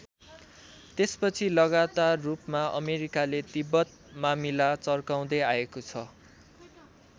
त्यसपछि लगातार रूपमा अमेरिकाले तिब्बत मामिला चर्काउँदै आएको छ।